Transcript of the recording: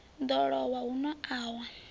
ḓo lowa huno a wa